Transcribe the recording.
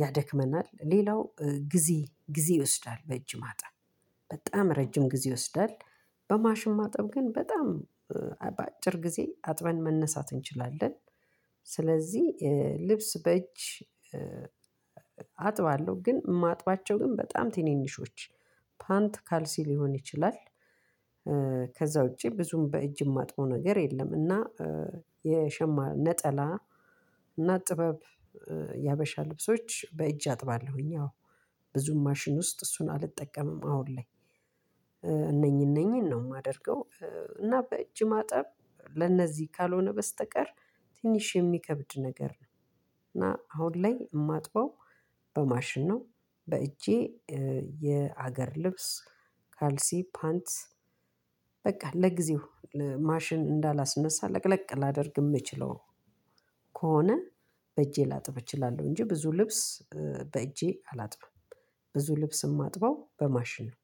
ያደክማልናል ሌላው ጊዜ ጊዜ ይወስዳል በእጂ ማጠብ በጣም ረዥም ጊዜ ይወስዳል። በማሽም ማጠብ ግን በጣም በአጭር ጊዜ አጥበን መነሳት እንችላለን። ስለዚህ ልብስ በእጅ አጥባለሁ ግን ማጥባቸው ግን በጣም ትንንሾች ፓንት ካልሲ ሊሆን ይችላል። ከዛ ውጪ ብዙም በእጅ የማጥበው ነገር የለም። እና የሸማ ነጠላ እና ጥበብ የሀበሻ ልብሶች በእጅ አጥባለሁኝ። አዎ ብዙም ማሽን ውስጥ እሱን አልጠቀምም አሁን ላይ እነኚህ እነኚህን ነው የማደርገው። እና በእጅ ማጠብ ለእነዚህ ካልሆነ በስተቀር ትንሽ የሚከብድ ነገር ነው። እና አሁን ላይ የማጥበው በማሽን ነው። በእጄ የሀገር ልብስ ካልሲ ፓንት በቃ ለጊዜው ማሽን እንዳላስነሳ ለቅለቅ ላደርግ የምችለው ከሆነ በእጄ ላጥብ እችላለሁ። እንጂ ብዙ ልብስ በእጄ አላጥብም ብዙ ልብስ የማጥበው በማሽን ነው።